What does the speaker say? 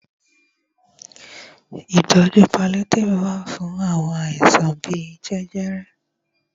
Ìtọjú paliétífù wà fún àwọn àìsàn bíi jẹjẹrẹ.